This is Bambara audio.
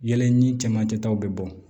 Yɛlɛ ni cɛmancɛ taw bɛ bɔ